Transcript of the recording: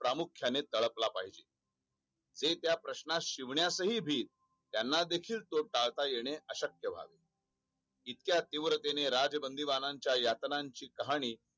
प्रामुख्याने तळपाला पाहिजे हे त्या प्रश्नांशी शिवन्यास हि भीत त्यांना देखील तो टाळता येन अशक्य वाटले इतक्या तीव्रतेने राजबंदीमाना यातनाची कहाणी